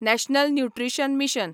national nutrition mission